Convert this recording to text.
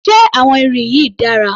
Ṣé àwọn irin yìí dára?